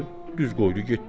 düz qoydu getdi.